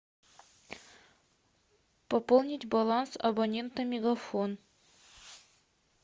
пополнить баланс абонента мегафон